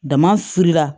Damafilila